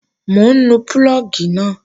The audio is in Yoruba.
Mò ń nu púlọ̀gì náà